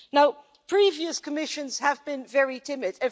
Now previous Commissions have been very timid.